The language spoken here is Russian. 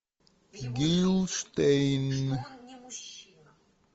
гилштейн